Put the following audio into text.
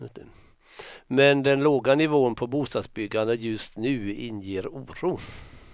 Men den låga nivån på bostadsbyggandet just nu inger oro.